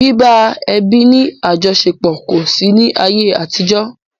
Bíbá ẹbí ní àjọṣepọ̀ kò sí ní ayé àtijó.